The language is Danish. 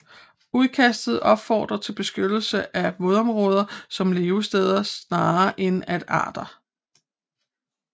Udkastet opfordrede til beskyttelse af vådområder som levesteder snarere end af arter